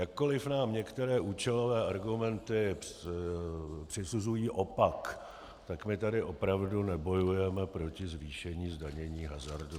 Jakkoliv nám některé účelové argumenty přisuzují opak, tak my tady opravdu nebojujeme proti zvýšení zdanění hazardu.